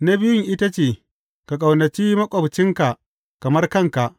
Na biyun ita ce, Ka ƙaunaci maƙwabcinka kamar kanka.’